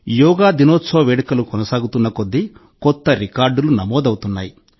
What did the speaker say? యోగా దినోత్సవ వేడుకలు కొనసాగుతున్న కొద్దీ కొత్త రికార్డులు నమోదవుతున్నాయి